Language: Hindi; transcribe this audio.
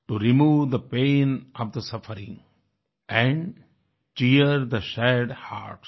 to remove the pain of the suffering and cheer the sad hertz